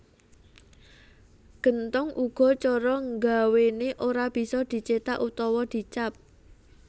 Genthong uga cara ngawéné ora bisa dicéthak utawa di cap